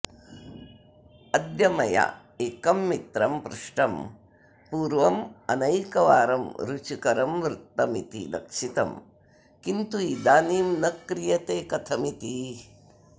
अद्य मया एकं मित्रं पृष्टं पूर्वमनैकवारं रुचिकरं वृत्तमिति लक्षितं किन्तु इदानीं न क्रियते कथमिति